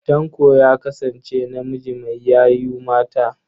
Tanko ya kasance namiji mai yayu mata.